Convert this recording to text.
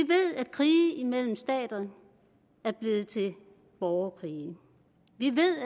krige imellem stater er blevet til borgerkrige vi ved